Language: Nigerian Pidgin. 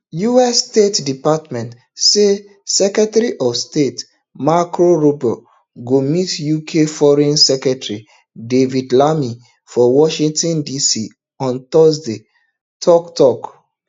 us state department said secretary of state marco rubio go meet uk foreign secretary david lammy for washington dc on thursday for tok tok